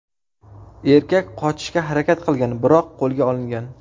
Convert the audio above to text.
Erkak qochishga harakat qilgan, biroq qo‘lga olingan.